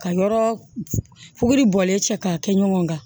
Ka yɔrɔ fuguri bɔlen cɛ k'a kɛ ɲɔgɔn kan